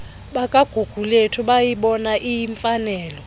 bakagugulethu bayibona iyimfanelo